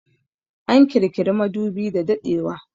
An kirkiri madubi da daɗewa